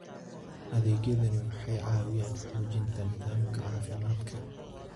Adeegyadani waxay caawiyaan xoojinta nidaamka caafimaadka.